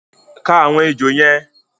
Ka àwọn èjò yẹn!